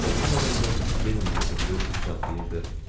Gözlənilmədən də yenə məni öpür, qucaqlayırdı.